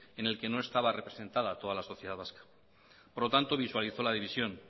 en el que no estaba representada toda la sociedad vasca por lo tanto visualizó la división